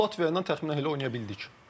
Məsəl üçün Latviya ilə təxminən elə oynaya bildik.